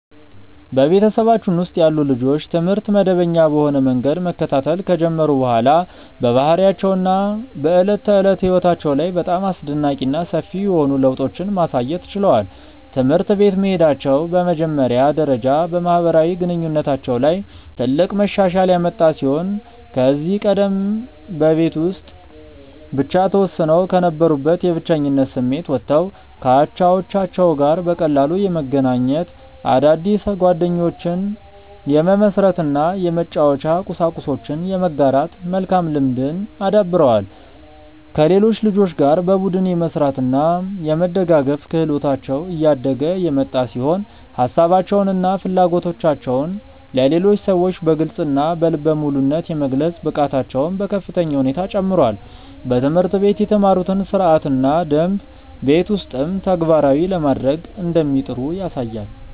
በቤተሰባችን ውስጥ ያሉ ልጆች ትምህርት መደበኛ በሆነ መንገድ መከታተል ከጀመሩ በኋላ በባህሪያቸው እና በዕለት ተዕለት ሕይወታቸው ላይ በጣም አስደናቂ እና ሰፊ የሆኑ ለውጦችን ማሳየት ችለዋል። ትምህርት ቤት መሄዳቸው በመጀመሪያ ደረጃ በማህበራዊ ግንኙነታቸው ላይ ትልቅ መሻሻል ያመጣ ሲሆን ከዚህ ቀደም በቤት ውስጥ ብቻ ተወስነው ከነበሩበት የብቸኝነት ስሜት ወጥተው ከአቻዎቻቸው ጋር በቀላሉ የመገናኘት፣ አዳዲስ ጓደኞችን የመመስረት እና የመጫወቻ ቁሳቁሶችን የመጋራት መልካም ልምድን አዳብረዋል። ከሌሎች ልጆች ጋር በቡድን የመስራት እና የመደጋገፍ ክህሎታቸው እያደገ የመጣ ሲሆን ሀሳባቸውን እና ፍላጎቶቻቸውን ለሌሎች ሰዎች በግልፅ እና በልበ ሙሉነት የመግለጽ ብቃታቸውም በከፍተኛ ሁኔታ ጨምሯል። በትምህርት ቤት የተማሩትን ሥርዓትና ደንብ ቤት ውስጥም ተግባራዊ ለማድረግ እንደሚጥሩ ያሳያል።